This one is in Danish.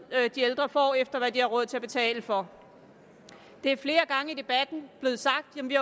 de ældre får efter hvad de har råd til at betale for det er flere gange i debatten blevet sagt at vi